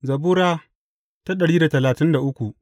Zabura Sura dari da talatin da uku